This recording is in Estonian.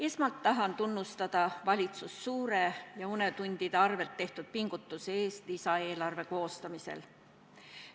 Esmalt tahan tunnustada valitsust suure ja unetundide arvel tehtud pingutuse eest lisaeelarve koostamisel.